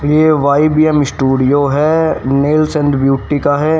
ये vibe young studio है। Males and beauty का है।